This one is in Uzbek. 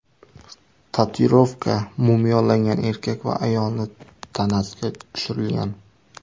Tatuirovka mumiyolangan erkak va ayolning tanasiga tushirilgan.